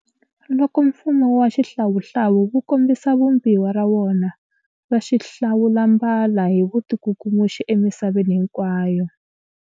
Loko mfumo wa xihlawuhlawu wu kombisa vumbiwa ra wona ra xihlawulambala hi vutikukumuxi emisaveni hinkwayo.